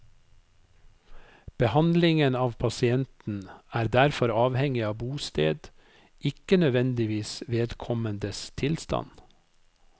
Behandlingen av pasienten er derfor avhengig av bosted, ikke nødvendigvis vedkommendes tilstand.